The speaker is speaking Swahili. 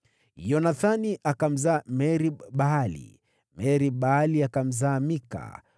Yonathani akamzaa: Merib-Baali, naye Merib-Baali akamzaa Mika.